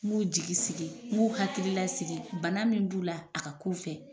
N b'u jigi sigi n b'u hakililasigi bana min b'u la a ka kun u fɛ